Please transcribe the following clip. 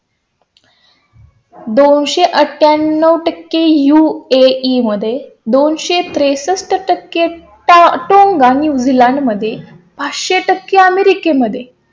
दोन सो अठ्ठ्या ण्णव टक्के UAE मध्ये दोन सो त्रेसष्ट टक्के टाटा न्युझीलँड मध्ये पाच सो टक्के, अमेरिके मध्ये